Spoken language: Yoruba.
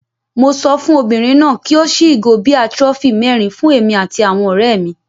Mo sọ fún obìnrin náà kí ó ṣí ìgò bíà trophy mẹ́rin fún èmi àti àwọn ọ̀rẹ́ mi.